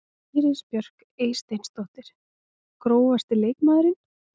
Íris Björk Eysteinsdóttir Grófasti leikmaðurinn?